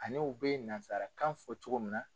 Ani u bɛ nasarakan fɔ cogo min na.